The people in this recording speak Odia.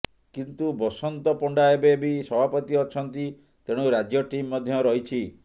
କିନ୍ତୁ ବସନ୍ତ ପଣ୍ଡା ଏବେ ବି ସଭାପତି ଅଛନ୍ତି ତେଣୁ ରାଜ୍ୟ ଟିମ୍ ମଧ୍ୟ ରହିଛି